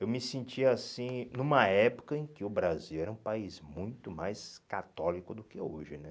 Eu me sentia assim numa época em que o Brasil era um país muito mais católico do que hoje né.